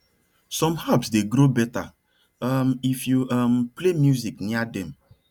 some herbs dey grow better um if you um play music near dem